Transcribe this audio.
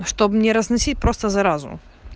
чтоб не разносить просто заразу